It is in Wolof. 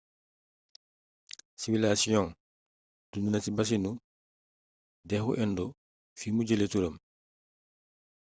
siwilasiyong dund na ci basinu dexu indo fi mu jële turam